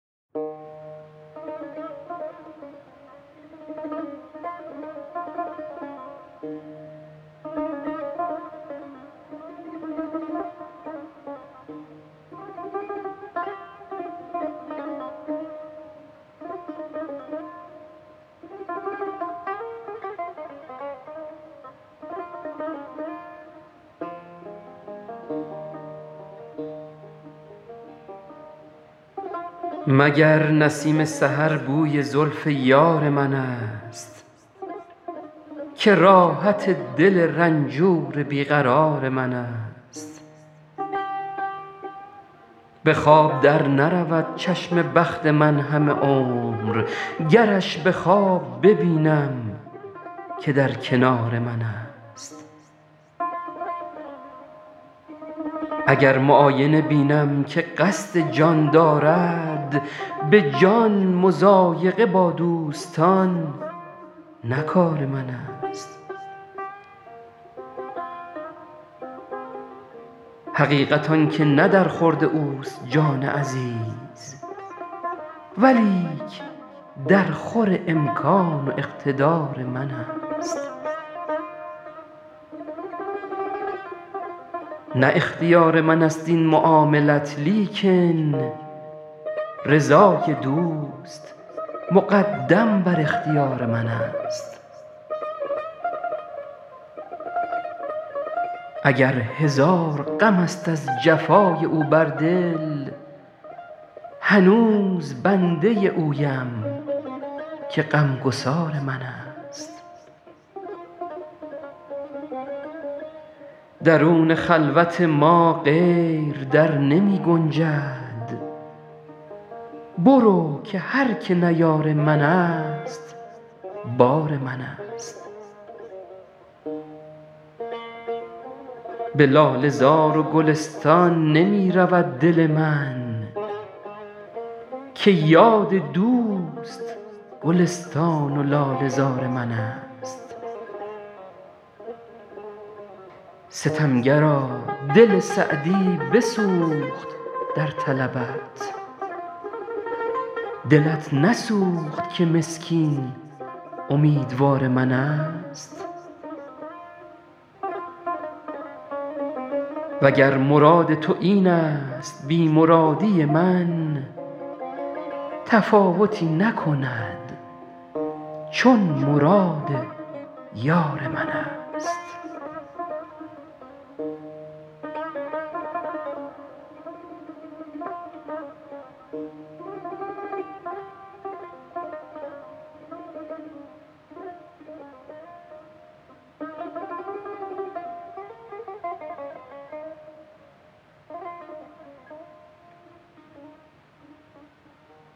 مگر نسیم سحر بوی زلف یار منست که راحت دل رنجور بی قرار منست به خواب در نرود چشم بخت من همه عمر گرش به خواب ببینم که در کنار منست اگر معاینه بینم که قصد جان دارد به جان مضایقه با دوستان نه کار منست حقیقت آن که نه در خورد اوست جان عزیز ولیک درخور امکان و اقتدار منست نه اختیار منست این معاملت لیکن رضای دوست مقدم بر اختیار منست اگر هزار غمست از جفای او بر دل هنوز بنده اویم که غمگسار منست درون خلوت ما غیر در نمی گنجد برو که هر که نه یار منست بار منست به لاله زار و گلستان نمی رود دل من که یاد دوست گلستان و لاله زار منست ستمگرا دل سعدی بسوخت در طلبت دلت نسوخت که مسکین امیدوار منست و گر مراد تو اینست بی مرادی من تفاوتی نکند چون مراد یار منست